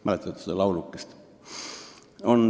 Mäletate seda laulukest.